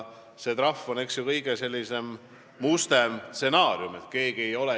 Trahv on kõige mustem stsenaarium.